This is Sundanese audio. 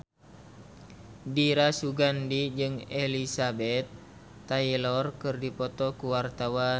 Dira Sugandi jeung Elizabeth Taylor keur dipoto ku wartawan